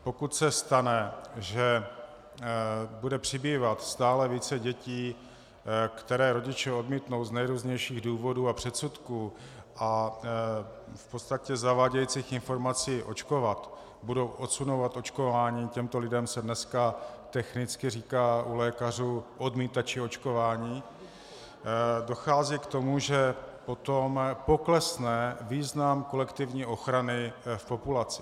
Pokud se stane, že bude přibývat stále více dětí, které rodiče odmítnou z nejrůznějších důvodů a předsudků a v podstatě zavádějících informací očkovat, budou odsunovat očkování, těmto lidem se dneska technicky říká u lékařů odmítači očkování, dochází k tomu, že potom poklesne význam kolektivní ochrany v populaci.